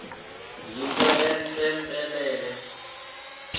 yinto entle mpelele